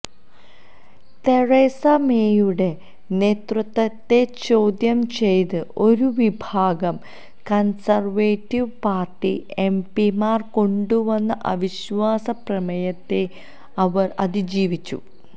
Teresa മേയുടെ നേതൃത്വത്തെ ചോദ്യം ചെയ്ത് ഒരുവിഭാഗം കൺസർവേറ്റീവ് പാർട്ടി എംപിമാർ കൊണ്ടുവന്ന അവിശ്വാസ പ്രമേയത്തെ അവർ അതിജീവിച്ചു